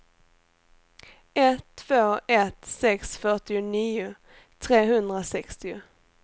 ett två ett sex fyrtionio trehundrasextio